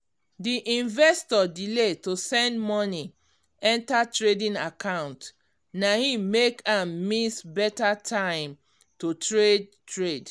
d investor delay to send money enter trading account na him make am miss better time to trade trade